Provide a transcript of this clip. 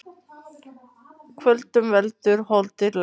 Kvölum veldur holdið lest.